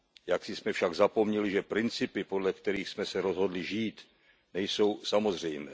Jaksi jsme však zapomněli, že principy, podle kterých jsme se rozhodli žít, nejsou samozřejmé.